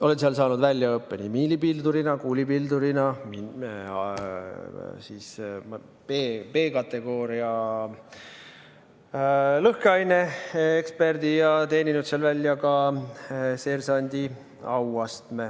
Olen seal saanud väljaõppe nii miinipildurina, kuulipildurina, B-kategooria lõhkeaineeksperdina ja teeninud seal välja seersandi auastme.